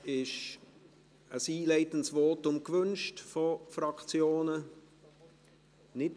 Ist ein einleitendes Votum vonseiten der Fraktionen gewünscht?